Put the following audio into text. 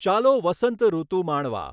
ચાલો વસંતઋતુ માણવા.